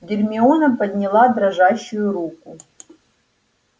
гермиона подняла дрожащую руку